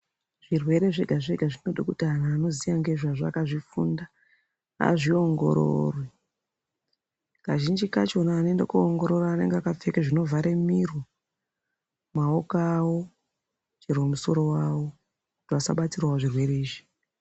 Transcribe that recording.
Zvirwere zvega zvega zvinode kuti antu anoziya ngezvazvo akazvifunda azviongorore kazhinji kachona vanoende koongorora anenge akapfeke zvinovhare miro ,maoko avo chero musoro wavo vasabatirawo zvirwere izvi.